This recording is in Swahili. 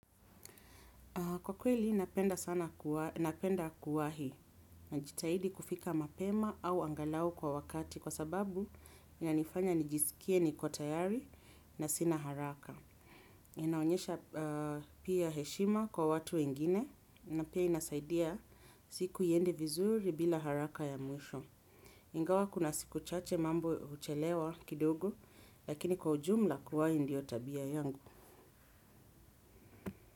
Kwa kweli, napenda kuwahi najitahidi kufika mapema au angalau kwa wakati kwa sababu inanifanya nijisikie ni kwa tayari na sina haraka. Inaonyesha pia heshima kwa watu wengine na pia inasaidia siku iende vizuri bila haraka ya mwisho. Ingawa kuna siku chache mambo huchelewa kidogo lakini kwa ujumla kuwahi ndio tabia yangu.